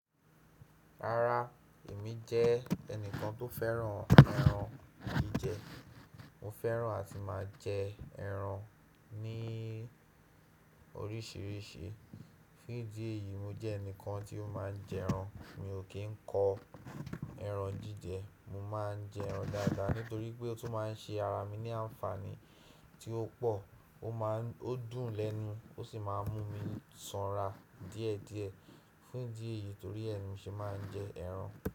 Rárá, èmi jẹ́ ẹnìkan tó fẹ́ràn ẹran jíjẹ. Mo fẹ́ràn àti máa jẹ ẹran ní oríṣìíríṣìí. Fún ìdí èyí, mo jẹ́ ẹnìkan tí ó máa ń jẹ ẹran. Mi ò kí ń kọ ẹran jíjẹ. Mo máa ń jẹ ẹran dáadáa nítorí pé ó tún máa ń ṣe ara mi ní àǹfààní tí ó pò, ó máa ń ó dùn lẹ́nu ó sì máa ń mú mi sanra díẹ̀ díẹ̀. Fún ìdí èyí torí ẹ mi ṣe máa ń jẹ ẹran.